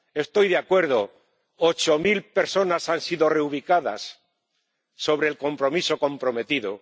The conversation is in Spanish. Estoy de acuerdo ocho mil personas han sido reubicadas frente al compromiso comprometido.